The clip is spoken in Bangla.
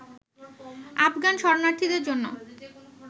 আফগান শরণার্থীদের জন্য